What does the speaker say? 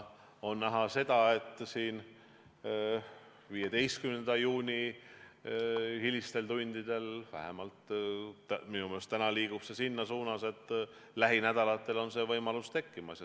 On näha, 15. juuni hilistel tundidel, et vähemalt minu meelest liigub see selles suunas, et lähinädalatel on see võimalus tekkimas.